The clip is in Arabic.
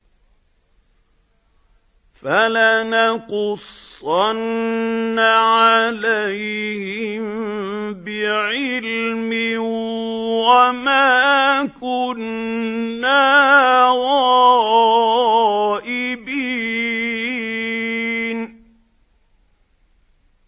فَلَنَقُصَّنَّ عَلَيْهِم بِعِلْمٍ ۖ وَمَا كُنَّا غَائِبِينَ